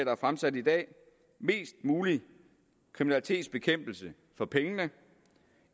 er fremsat i dag er mest mulig kriminalitetsbekæmpelse for pengene